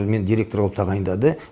мені директор қылып тағайындады